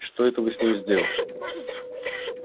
что это вы с ним сделали